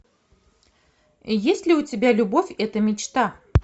есть ли у тебя любовь это мечта